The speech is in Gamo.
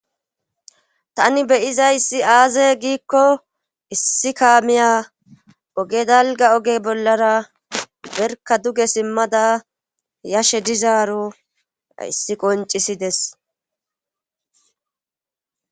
Tani beyiza issi aaze giikko issi kaamiya oge dalga oge bollara berka duge simmada yashe dizaaro issi qoncisides